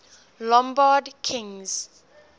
lombard kings